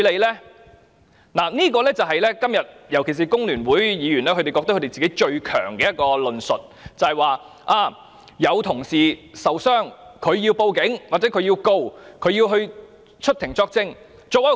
"今天，多位議員尤其是香港工會聯合會的議員，認為他們最強大的一個論述，就是有同事受傷，所以要報案、檢控或出庭作證。